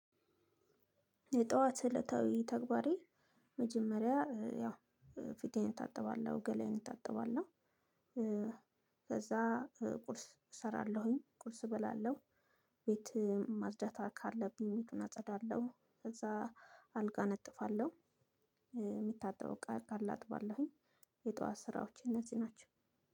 የጧዋት እለታዊ ተግባሬ መጀመሪያ ያው ፊቴን እታጥባለሁ ገላዬን እጠብቃለሁ ከዛ ቁርስ እሰራለሁኝ ቁርስ እበላለሁ ቤትህ ማጽዳት ካለብኝ ቤቱን አጸዳለሁ ከዛ አልጋ እነጥፋለሁ እቃ ካለ አጥባለሁኝ የጧዋት ስራዎች እነዚህ ናቸው።